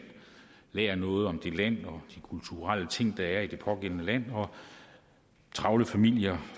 lærer noget om det land og de kulturelle ting der er i det pågældende land og travle familier